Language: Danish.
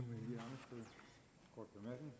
må